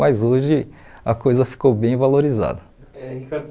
Mas hoje a coisa ficou bem valorizada. É, Ricardo